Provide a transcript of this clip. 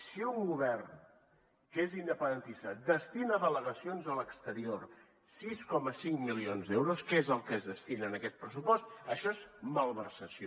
si un govern que és independentista destina a delegacions a l’exterior sis coma cinc milions d’euros que és el que es destina en aquest pressupost això és malversació